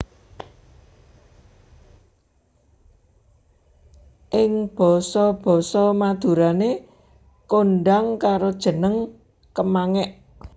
Ing basa basa Madurané kondhang karo jeneng kemangék